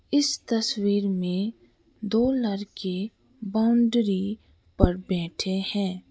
इस तस्वीर में दो लड़के बाउंड्री पर बैठे हैं।